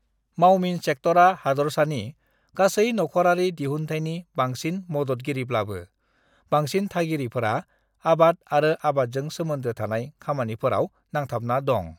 "मावमिन सेक्टरा हादरसानि गासै नखरारि दिहुन्थायनि बांसिन मददगिरिब्लाबो, बांसिन थागिरिफोरा आबाद आरो आबादजों सोमोन्दो थानाय खामानिफोराव नांथाबना दं।"